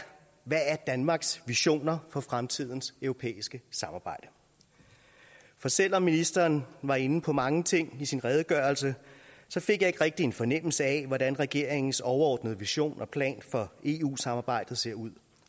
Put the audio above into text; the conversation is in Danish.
hvad er danmarks visioner for fremtidens europæiske samarbejde for selv om ministeren var inde på mange ting i sin redegørelse fik jeg ikke rigtig en fornemmelse af hvordan regeringens overordnede vision og plan for eu samarbejdet ser ud